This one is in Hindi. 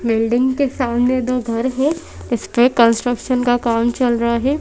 बिल्डिंग के सामने दो घर है इस पे कंस्ट्रक्शन का काम चल रहा है।